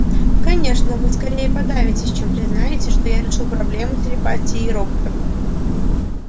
конечно вы скорее подавитесь чем признаете что я решил проблему телепатии роботов